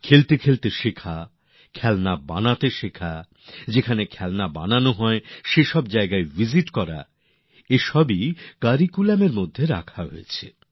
খেলতে খেলতে শেখা খেলনা বানাতে শেখা যেখানে খেলনা বানানো হয় সেখানে দেখতে যাওয়া এই সমস্ত কিছুকে পাঠক্রমের অঙ্গ করা হয়েছে